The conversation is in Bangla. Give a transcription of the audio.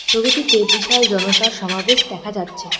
ছবিটিতে বিশাল জনতার সমাবেশ দেখা যাচ্ছে।